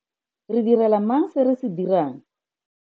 Re direla mang se re se dirang?